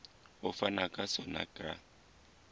ho fanwa ka sona ka